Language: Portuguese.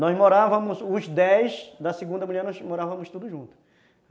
Nós morávamos, os dez da segunda mulher, nós morávamos todos juntos.